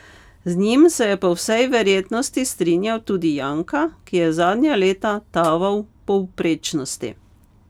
Z njim se je po vsej verjetnosti strinjal tudi Janka, ki je zadnja leta taval v povprečnosti.